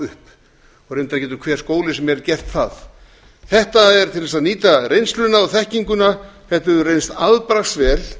reyndar getur hvaða skóli sem er gert það þetta er til að nýta reynsluna og þekkinguna þetta hefur reynst afbragðsvel